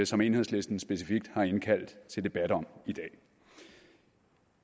som enhedslisten specifikt har indkaldt til debat om i dag